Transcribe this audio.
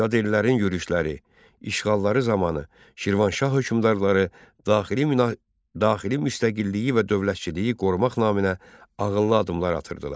Yad ellərin yürüşləri, işğalları zamanı Şirvanşah hökmdarları daxili müstəqilliyi və dövlətçiliyi qorumaq naminə ağıllı addımlar atırdılar.